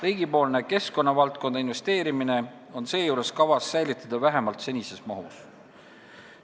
Riigipoolne keskkonnavaldkonda investeerimine on seejuures kavas säilitada vähemalt senises mahus.